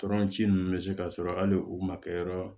Tɔrɔnci ninnu bɛ se ka sɔrɔ hali u ma kɛ yɔrɔ